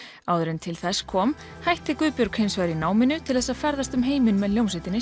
áður en til þess kom hætti Guðbjörg hins vegar í náminu til þess að ferðast um heiminn með hljómsveitinni